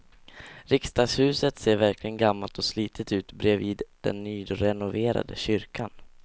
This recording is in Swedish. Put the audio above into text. Riksdagshuset ser verkligen gammalt och slitet ut bredvid den nyrenoverade kyrkan.